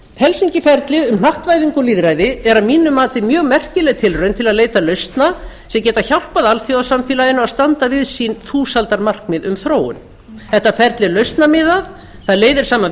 helsinki ferlið h hnattvæðingu og lýðræði er að eina mati mjög merkileg tilraun til að leita lausna sem geta hjálpað alþjóðasamfélaginu að standa við sín þúsaldarmarkmið um þróun þetta ferli er lausnamiðað það leiðir saman